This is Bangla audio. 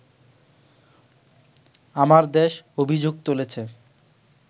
‘আমার দেশ’ অভিযোগ তুলেছে